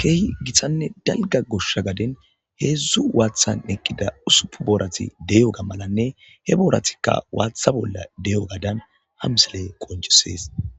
keehi gittanne dalgga goshsha gaden heedzdzu waathan eqqida usupun boorati de'iyoga malanne he booratikka waatha bolla de'iyogadan ha misiley qoncisees.